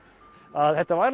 að þetta